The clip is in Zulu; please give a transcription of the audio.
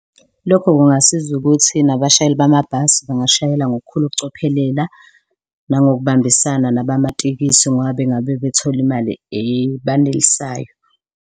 Lokho kungasiza ukuthi nabashayeli bamabhasi bangashayela ngokukhulu ukucophelela nangokubambisana nabamatekisi ngoba bengabe bethole imali ebanelisayo.